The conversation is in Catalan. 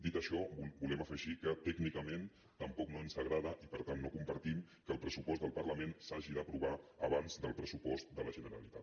dit això volem afegir que tècnicament tampoc no ens agrada i per tant no compartim que el pressupost del parlament s’hagi d’aprovar abans del pressupost de la generalitat